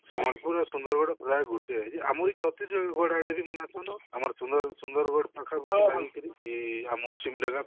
ସମ୍ବଲପୁର ଆଉ ସୁନ୍ଦରଗଡ ପ୍ରାଏ ଗୋଟିଏ ଯେ ଆମରି ଛତିଶଗଡ ଆଡେ ବି ମନାଉଛନ ତ ଆମର ସୁନ୍ଦର ସୁନ୍ଦରଗଡ ପାଖାପାଖି ଲାଗିକିରି ଯୋଉ ଆମର